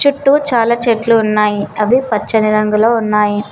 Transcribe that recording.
చుట్టూ చాలా చెట్లు ఉన్నాయి. అవి పచ్చని రంగులో ఉన్నాయి.